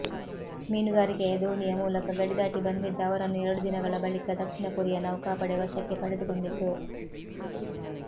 ಮೀನುಗಾರಿಕೆಯ ದೋಣಿಯ ಮೂಲಕ ಗಡಿದಾಟಿ ಬಂದಿದ್ದ ಅವರನ್ನು ಎರಡು ದಿನಗಳ ಬಳಿಕ ದಕ್ಷಿಣ ಕೊರಿಯಾ ನೌಕಾಪಡೆ ವಶಕ್ಕೆ ಪಡೆದುಕೊಂಡಿತ್ತು